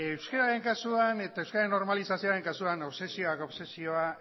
euskararen kasuan eta euskararen normalizazioaren kasuan obsesioak obsesioa